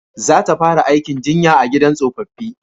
Za ta fara aikin jinya a gidan tsofaffi